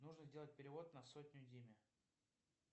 нужно сделать перевод на сотню диме